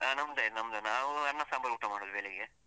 ಹಾ ನಮ್ದಾಯ್ತು ನಮ್ದಾಯ್ತು. ನಾವು ಅನ್ನ ಸಾಂಬರ್ ಊಟ ಮಾಡುದು ಬೆಳಿಗ್ಗೆ.